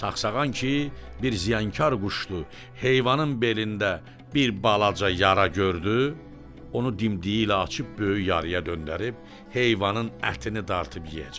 Sağsağan ki bir ziyanqar quşdur, heyvanın belində bir balaca yara gördü, onu dimdiyi ilə açıb böyük yaraya döndərib, heyvanın ətini dartıb yeyəcək.